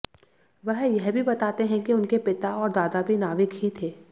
वह यह भी बताते हैं कि उनके पिता और दादा भी नाविक ही थे